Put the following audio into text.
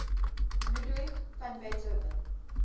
ludwig van beethoven